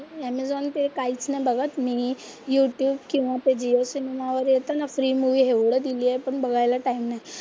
Amazon ते काहीच नाही बघत मी. यू ट्यूब किंवा ते जिओ सिनेमा वर येतं ना प्री मूवी एवढं दिलीये पण बघायला टाइम नाही.